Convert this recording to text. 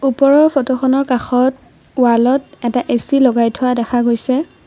ওপৰৰ ফটোখনৰ কাষত ওৱালত এটা এ_চি লগাই থোৱা দেখা গৈছে।